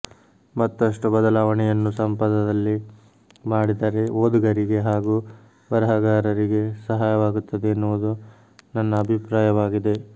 ಮತ್ತಷ್ಟು ಬದಲಾವಣೆಯನ್ನು ಸಂಪದದಲ್ಲಿ ಮಾಡಿದರೆ ಓದುಗರಿಗೆ ಹಾಗೂ ಬರಹಗಾರರಿಗೆ ಸಹಾಯವಾಗುತ್ತದೆ ಎನ್ನುವುದು ನನ್ನ ಅಭಿಪ್ರಾಯವಾಗಿದೆ